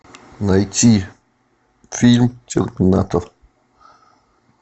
найти фильм терминатор